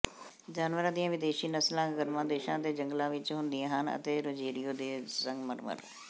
ਜਾਨਵਰਾਂ ਦੀਆਂ ਵਿਦੇਸ਼ੀ ਨਸਲਾਂ ਗਰਮ ਦੇਸ਼ਾਂ ਦੇ ਜੰਗਲਾਂ ਵਿਚ ਹੁੰਦੀਆਂ ਹਨ ਅਤੇ ਰੋਜ਼ੇਰੀਓ ਦੇ ਸੰਗਮਰਮਰ